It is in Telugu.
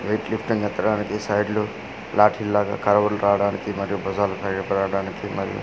వెయిట్ లిఫ్టింగ్ ఎత్తడానికి సైడ్ లు లాటి లాగా కర్వ్ లు రావడానికి మరియు భుజాలు సరిగా పెరగడానికి మరియు --